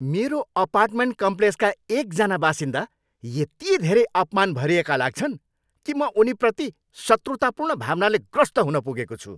मेरो अपार्टमेन्ट कम्प्लेक्सका एकजना बासिन्दा यति धेरै अपमान भरिएका लाग्छन् कि म उनीप्रति शत्रुतापूर्ण भावनाले ग्रस्त हुन पुगेको छु।